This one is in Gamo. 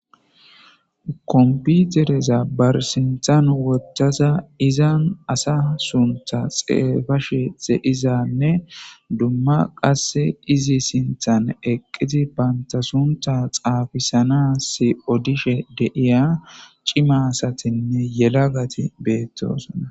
Komppitereza ba sinthan woththadanne izan asa sunththa xafashe de'izanne dumma qasse izi sinthan eqida bantta sunththa xafisannas odishe de'iya c'ima asatinne yalagati betosona.